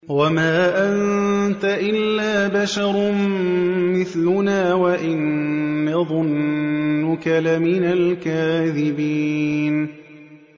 وَمَا أَنتَ إِلَّا بَشَرٌ مِّثْلُنَا وَإِن نَّظُنُّكَ لَمِنَ الْكَاذِبِينَ